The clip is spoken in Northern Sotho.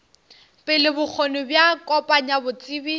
pele bokgoni bja kopanya botsebi